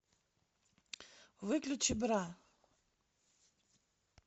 выключи бра